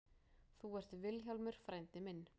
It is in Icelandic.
Þú ert Vilhjálmur frændi minn.